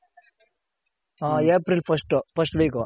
Hmm April first first week.